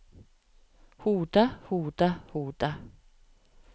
hodet hodet hodet